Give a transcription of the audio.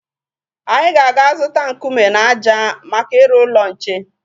Anyị ga-aga zụta nkume na ájá maka ịrụ ụlọ nche.